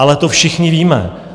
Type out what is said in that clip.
Ale to všichni víme.